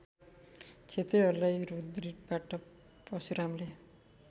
क्षत्रियहरूलाई रुधिरबाट परशुरामले